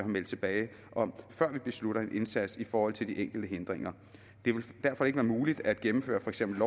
meldt tilbage om før vi beslutter en indsats i forhold til de enkelte hindringer det vil derfor ikke være muligt at gennemføre for eksempel